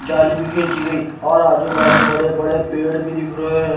जाली भी खींची गई और आजू बाजू बड़े बड़े पेड़ भी दिख रहे हैं।